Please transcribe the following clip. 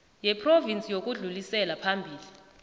yephrovinsi yokudlulisela phambili